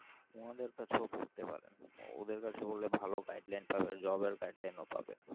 ওনাদের কাছে পড়তে পারেন ওদের কাছে বলে ভালো guidelines পাবে job এর guideline ও পাবেন